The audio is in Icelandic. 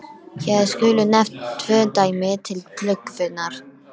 Hér skulu nefnd tvö dæmi til glöggvunar.